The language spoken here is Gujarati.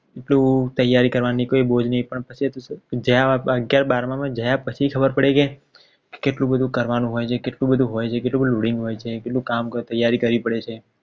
કેટલી ત્યારી કરવાની કઈ બોજ નહિ પણ પછી જયારે આપણે અગિયાર બારમાં જાય પછી ખબર પડી કે કેટલું બધું કરવાનું હોય છે કેટલું બધો હોય છે કેટલું બધું loading હોય છે કેટલી ત્યારી કરવી પડે છે.